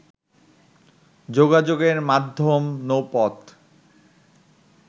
যোগাযোগের মাধ্যম নৌপথ